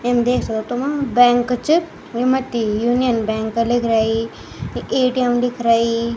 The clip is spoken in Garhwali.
इन देख सक्दो तुम बैंक च ये मथ्थी यूनियन बैंक लिख रइ यी ए.टी.एम. लिख रेई।